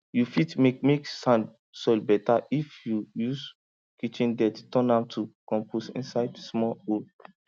you fit make make sand soil better if you use kitchen dirt turn am to compost inside small hole